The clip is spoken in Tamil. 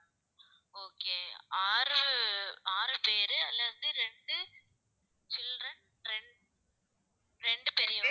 okay ஆறு ஆறு பேரு அதுல வந்து ரெண்டு children ரெண்~ ரெண்டு பெரிய